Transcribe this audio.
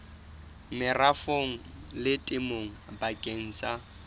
merafong le temong bakeng sa